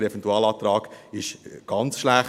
Der Eventualantrag ist ganz schlecht.